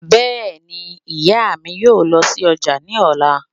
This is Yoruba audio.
Bẹ́ẹ̀ni, ìyá mi yóò lọ sí ọjà ní ọ̀la